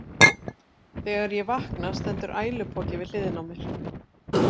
Þegar ég vakna stendur ælupoki við hliðina á mér.